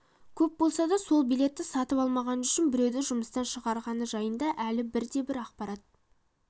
көп болса да сол билетті сатып алмағаны үшін біреуді жұмыстан шығарғаны жайында әлі бірде-бір ақпарат